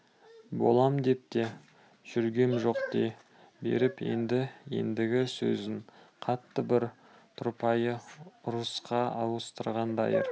болам деп те жүргем жоқ дей беріп еді ендігі сөзін қатты бір тұрпайы ұрысқа ауыстырған дайыр